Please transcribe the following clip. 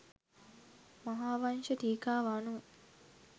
මහාවංශ ටීකාව අනුව